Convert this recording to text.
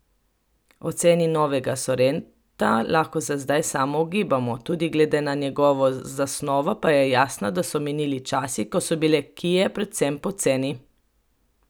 O ceni novega sorenta lahko za zdaj samo ugibamo, tudi glede na njegovo zasnovo pa je jasno, da so minili časi, ko so bile kie predvsem poceni.